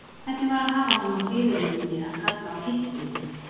Hvernig var að hafa hann á hliðarlínunni að kalla á hitt liðið?